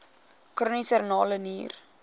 chroniese renale nier